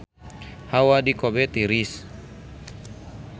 Hawa di Kobe tiris